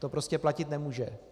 To prostě platit nemůže.